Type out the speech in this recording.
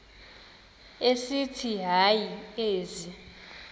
esithi hayi ezi